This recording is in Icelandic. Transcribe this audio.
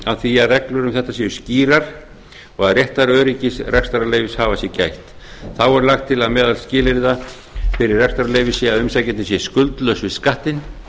á því að reglur um þetta séu skýrar og að réttaröryggis rekstrarleyfishafa sé gætt þá er lagt til að meðal skilyrða fyrir rekstrarleyfi sé að umsækjandi sé skuldlaus á skattinn